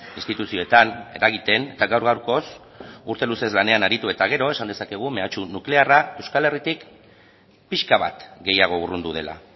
instituzioetan eragiten eta gaur gaurkoz urte luzeez lanean aritu eta gero esan dezakegu mehatxu nuklearra euskal herritik pixka bat gehiago urrundu dela